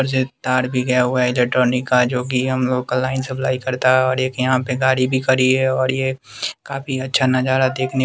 अर जे तार भी गया हुआ है इलेक्ट्रॉनिक का जो कि हम लोग का लाइन सप्लाई करता है और एक यहाँ पे गाड़ी भी खड़ी है और ये काफी अच्छा नज़ारा देखने --